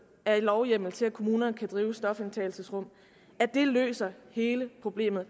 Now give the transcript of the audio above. af lovhjemmel til at kommunerne kan drive stofindtagelsesrum løser hele problemet